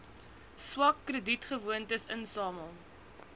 swak kredietgewoontes insamel